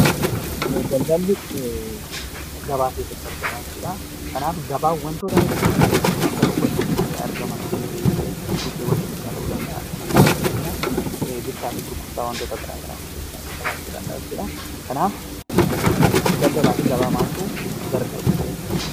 Daldaalli gabaa keessatti argama. Gabaan wantoota hedduu bakka tokkootti argaman bakka bittaa fi gurgurtaan itti gaggeeffaman jechuudha.